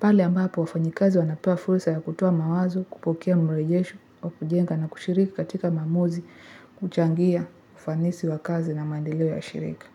Pale ambapo, wafanyakazi wanapewa fursa ya kutoa mawazo, kupokea mrejesho, wa kujenga na kushiriki katika maamuzi, kuchangia ufanisi wa kazi na maendeleo ya shirika.